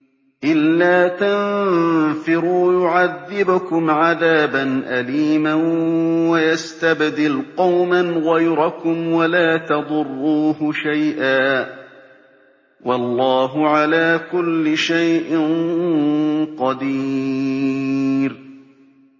إِلَّا تَنفِرُوا يُعَذِّبْكُمْ عَذَابًا أَلِيمًا وَيَسْتَبْدِلْ قَوْمًا غَيْرَكُمْ وَلَا تَضُرُّوهُ شَيْئًا ۗ وَاللَّهُ عَلَىٰ كُلِّ شَيْءٍ قَدِيرٌ